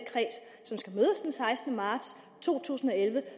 sekstende marts to tusind og elleve